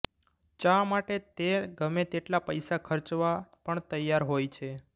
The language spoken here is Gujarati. ચા માટે તે ગમે તેટલા પૈસા ખર્ચવા પણ તૈયાર હોય છે